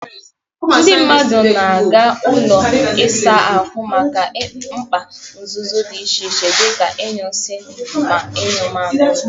Ndị mmadụ na-aga ụlọ ịsa ahụ maka mkpa nzuzo dị iche iche dị ka ị nyu isi ma nyuo mmamịrị.